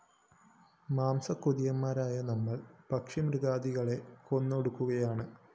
മാംസക്കൊതിയന്മാരായ നമ്മള്‍ പക്ഷിമൃഗാദികളെ കൊന്നൊടുക്കുകയാണ്